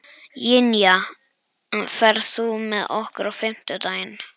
Ynja, ferð þú með okkur á fimmtudaginn?